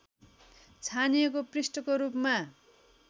छानिएको पृष्ठको रूपमा